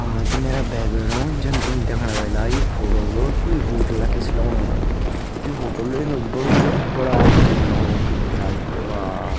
हाँ त मेरा भाई-भेणो जन तुम देखणा वेला यु फोटो क कुई होटल की सी लगणु यु होटल इन बड़ू बड़ा आदमी का लगणु की ब्या बा।